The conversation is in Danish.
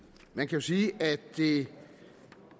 man kan sige at det